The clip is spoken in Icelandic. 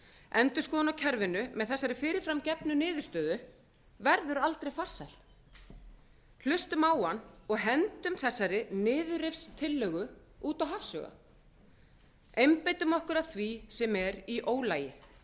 endurskoðun á kerfinu með þessari fyrirframgefnu niðurstöðu verður aldrei farsæl hlustum á hann og hendum þessari niðurrifstillögu út í hafsauga einbeitum okkur að því sem er í ólagi